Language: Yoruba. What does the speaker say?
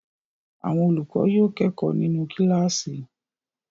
Àwọn olùkọ́ yóò kẹ́kọ̀ọ́ nínú kíláàsì.